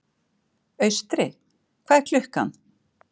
Austri, hvað er klukkan?